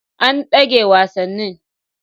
An dage wasannin.